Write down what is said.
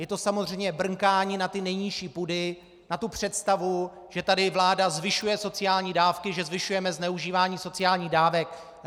Je to samozřejmě brnkání na ty nejnižší půdy, na tu představu, že tady vláda zvyšuje sociální dávky, že zvyšujeme zneužívání sociálních dávek.